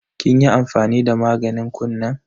Kin yi amfani da maganin kunnen?